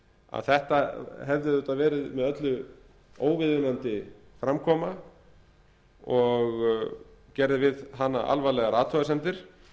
að þetta hefði auðvitað verið með öllu óviðunandi framkoma og gerði við hana alvarlegar athugasemdir